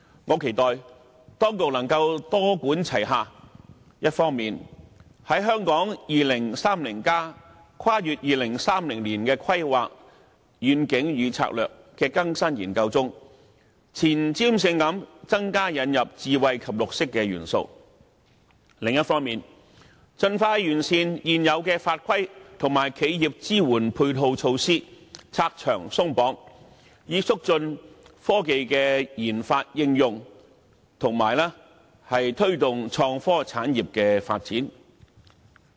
我期待當局能夠多管齊下，一方面在《香港 2030+： 跨越2030年的規劃遠景與策略》的更新研究中，前瞻性地增加引入智慧及綠色元素；另一方面，盡快完善現有法規及企業支援配套措施，拆牆鬆綁，以促進科技研發應用，以及推動創科產業的發展。